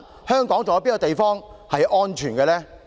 香港還有哪處是安全的？